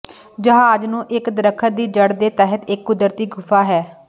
ਜਹਾਜ਼ ਨੂੰ ਇਕ ਦਰਖ਼ਤ ਦੀ ਜੜ੍ਹ ਦੇ ਤਹਿਤ ਇੱਕ ਕੁਦਰਤੀ ਗੁਫਾ ਹੈ